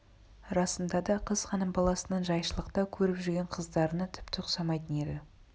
расында да қыз хан баласының жайшылықта көріп жүрген қыздарына тіпті ұқсамайтын еді